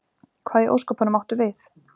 Hvað í ósköpunum áttu við?